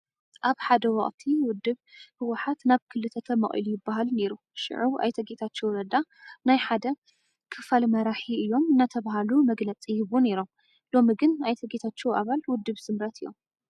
ኣብ ሓደ ወቕቲ ውድብ ህወሓት ናብ ክልተ ተመቒሉ ይበሃል ነይሩ፡፡ ሽዑ ኣይተ ጌታቸው ረዳ ናይቲ ሓደ ክፋል መራሒ እዮም እናተባህሉ መግለፂ ይህቡ ነይሮ፡፡ ሎሚ ግን ኣይተ ጌታቸው ኣባል ውድብ ስምረት እዮም፡፡